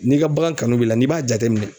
N'i ka bagan kanu b'i la n'i b'a jateminɛ